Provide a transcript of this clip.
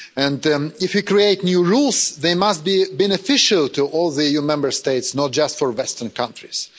And if you create new rules they must be beneficial to all the EU Member States, not just the western countries.